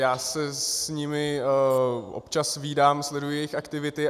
Já se s nimi občas vídám, sleduji jejich aktivity.